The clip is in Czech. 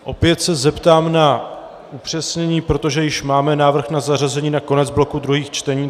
Opět se zeptám na upřesnění, protože již máme návrh na zařazení na konec bloku druhých čtení.